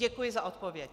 Děkuji za odpověď.